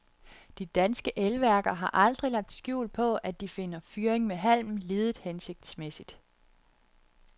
De danske elværker har aldrig lagt skjul på, at de finder fyring med halm lidet hensigtsmæssigt.